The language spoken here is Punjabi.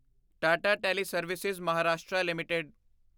Tata teleservices Maharashtra LTD